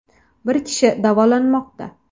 Bir kishi davolanmoqda.